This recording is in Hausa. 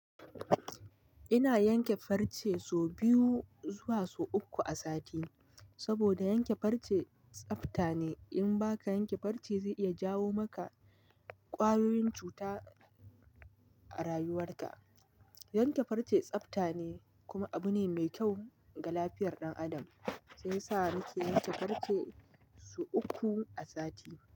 Ina yanke farce so biyu zuwa so uku a sati, saboda yanke farce tsafta ne. In ba ka yanke farce zai iya jawo maka ƙwayoyin cuta a rayuwarka. Yanke farce tsafta ne kuma abu ne mai kyau ga lafiyar ɗan adam. Shiyasa nake yanke farce so uku a sati.